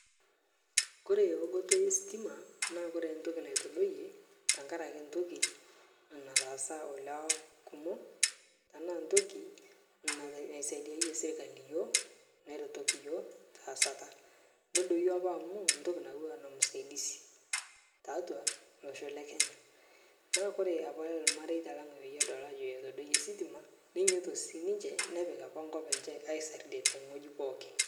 Kore eunoto estima naa kore ntoki naitodoyie ntakare ake ntoki nataasa olewa kumo tanaa ntoki nat naisaidiayie serkali yuo neretoki teasata nedoyo apa amu ntoki nauwa nemsaidisi, taatwaa losho lekenya. Naa kore apa lmareta lang' peyie edol ajo etodoiye sitima nenyooto sii ninche nepik apa nkop enche aisarde teng'oji pookin.